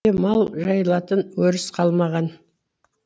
мал жайылатын өріс қалмаған